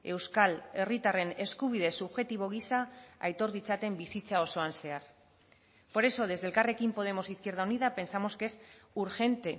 euskal herritarren eskubide subjektibo gisa aitor ditzaten bizitza osoan zehar por eso desde elkarrekin podemos izquierda unida pensamos que es urgente